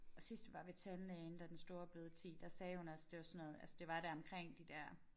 Og sidst vi var ved tandlægen da den store blevet 10 der sagde hun også det var sådan noget altså det var deromkring de der